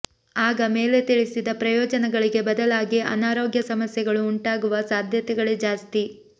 ಆಗ ಮೇಲೆ ತಿಳಿಸಿದ ಪ್ರಯೋಜನಗಳಿಗೆ ಬದಲಾಗಿ ಅನಾರೋಗ್ಯ ಸಮಸ್ಯೆಗಳು ಉಂಟಾಗುವ ಸಾಧ್ಯತೆಗಳೇ ಜಾಸ್ತಿ